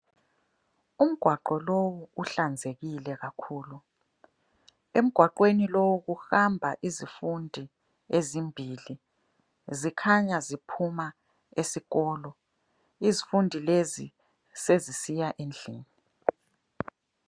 Umgwaqo lowu uhlanzekile kakhulu. Emgwaqweni lowu kuhamba izifundi ezimbili. Zikhanya ziphuma esikolo. Izifundi lezi sezisiya endlini.